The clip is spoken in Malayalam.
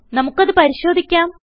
നമുക്ക് അത് പരിശോധിക്കാം